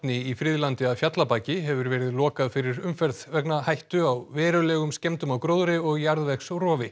í Friðlandi að Fjallabaki hefur verið lokað fyrir umferð vegna hættu á verulegum skemmdum á gróðri og jarðvegsrofi